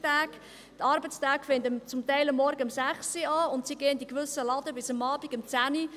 Die Arbeitstage beginnen zum Teil um 6 Uhr morgens und dauern in gewissen Läden bis um 22 Uhr abends.